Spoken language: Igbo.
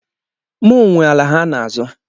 Mụ nwe ala ha n'azọ.